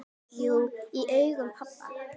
Jú, í augum pabba